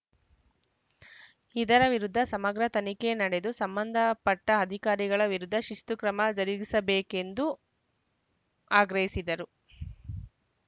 ಇದರ ವಿರುದ್ಧ ಸಮಗ್ರ ತನಿಖೆ ನಡೆದು ಸಂಬಂಧ ಪಟ್ಟಅಧಿಕಾರಿಗಳ ವಿರುದ್ಧ ಶಿಸ್ತುಕ್ರಮ ಜರುಗಿಸಬೇಕೆಂದು ಆಗ್ರಹಿಸಿದರು